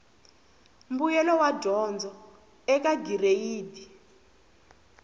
mbuyelo wa dyondzo eka gireyidi